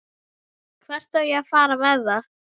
Hvert á ég að fara með það?